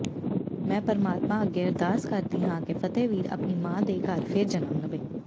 ਮੈਂ ਪਰਮਾਤਮਾ ਅੱਗੇ ਅਰਦਾਸ ਕਰਦੀ ਹਾਂ ਕਿ ਫ਼ਤਿਹਵੀਰ ਆਪਣੀ ਮਾਂ ਦੇ ਘਰ ਫਿਰ ਜਨਮ ਲਵੇ